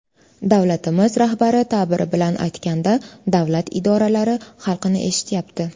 Davlatimiz rahbari ta’biri bilan aytganda, davlat idoralari xalqni eshityapti.